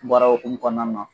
Baara okumun kɔnɔna na.